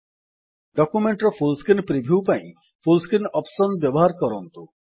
document ର full screen view ପାଇଁ full screen option ବ୍ୟବହାର କରନ୍ତୁ